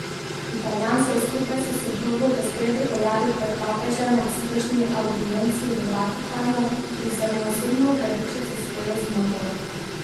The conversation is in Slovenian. Italijan se je skupaj s soprogo v sredo pojavil pred papežem ob splošni avdienci v Vatikanu in se mu osebno opravičil za svojo zmoto.